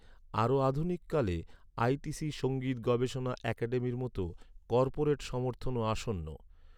আরও আধুনিক কালে, আই.টি.সি সঙ্গীত গবেষণা একাডেমির মতো কর্পোরেট সমর্থনও আসন্ন।